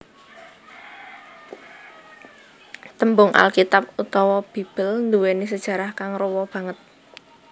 Tembung Alkitab utawa Bibel nduwèni sajarah kang rowa banget